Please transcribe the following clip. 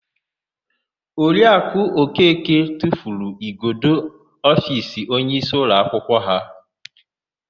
Oriakụ Okeke tufuru igodo ofiisi onyeisi ụlọakwụkwọ ha.